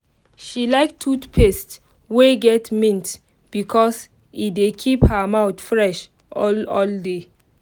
she like toothpaste wey get mint because e dey keep her mouth fresh all all day